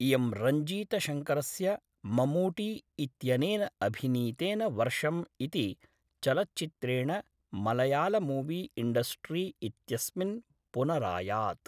इयं रञ्जीतशङ्करस्य ममूटी इत्यनेन अभिनीतेन वर्षम् इति चलच्चित्रेण मलयालमूवी इण्डस्ट्री इत्यस्मिन् पुनरायात्।